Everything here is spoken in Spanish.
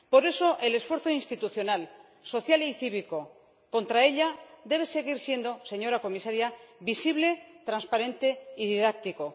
Por eso, el esfuerzo institucional, social y cívico contra ella debe seguir siendo, señora comisaria, visible, transparente y didáctico.